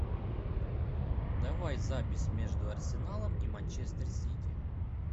давай запись между арсеналом и манчестер сити